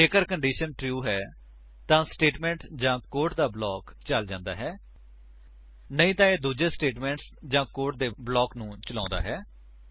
ਜੇਕਰ condition true ਹੈ ਤਾਂ ਸਟੇਟਮੇਂਟ ਜਾਂ ਕੋਡ ਦਾ ਬਲਾਕ ਚਲ ਜਾਂਦਾ ਹੈ ਨਹੀਂ ਤਾਂ ਇਹ ਦੂੱਜੇ ਸਟੇਟਮੇਂਟ ਜਾਂ ਕੋਡ ਦੇ ਬਲਾਕ ਨੂੰ ਚਲਾਉਂਦਾ ਹੈ